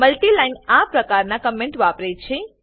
multi line આ પ્રકારના comment વાપરે છે